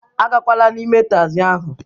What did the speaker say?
Agakwala n'ime tagzi ahụ